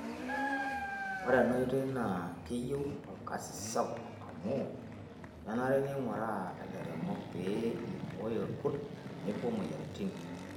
Ore ena oitoi naa keyieu olkasi sapuk amuu kenare neing'uraa lairemok pee eibooyo ilkurt tenebo moyiaritin.